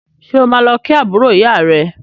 Ṣé o máa lọ kí àbúrò ìyá rẹ